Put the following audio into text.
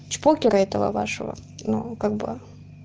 чпокера этого вашего ну как бы